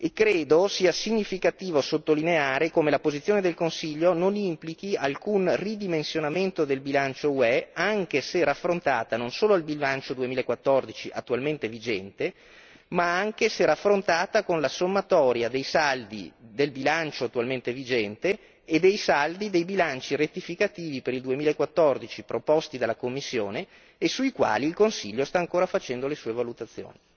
Credo sia significativo sottolineare come la posizione del Consiglio non implichi alcun ridimensionamento del bilancio UE, anche se raffrontata non solo al bilancio 2014 attualmente vigente, ma anche se raffrontata con la sommatoria dei saldi del bilancio attualmente vigente e dei saldi dei bilanci rettificativi per il 2014 proposti dalla Commissione e sui quali il Consiglio sta ancora facendo le sue valutazioni.